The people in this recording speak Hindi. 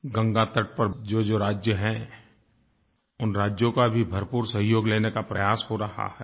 गंगा तट पर जोजो राज्य हैं उन राज्यों का भी भरपूर सहयोग लेने का प्रयास हो रहा है